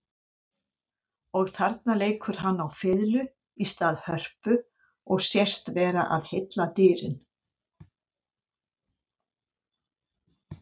Og þarna leikur hann á fiðlu í stað hörpu og sést vera að heilla dýrin.